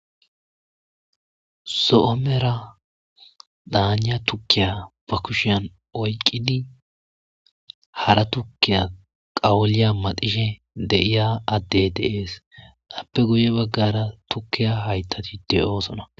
Zoo misatiya tukkiya ba kushshen oyikidi hara tukiya qamuliya maaxishe deiya adey deessi adiya guye baggara hayiththa tukketi deosoona